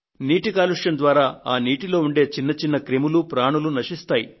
నీటి కాలుష్యం ద్వారా ఆ నీటిలో ఉండే చిన్న చిన్న క్రిములు ప్రాణులు నశిస్తాయి